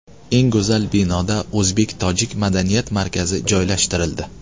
Eng go‘zal binoda o‘zbek tojik madaniyat markazi joylashtirildi.